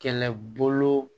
Kɛlɛbolo